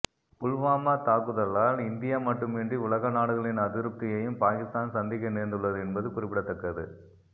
புல்வாமா தாக்குதலால் இந்தியா மட்டுமின்றி உலக நாடுகளின் அதிருப்தியையும் பாகிஸ்தான் சந்திக்க நேர்ந்துள்ளது என்பது குறிப்பிடத்தக்கது